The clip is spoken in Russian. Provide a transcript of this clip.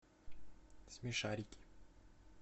смешарики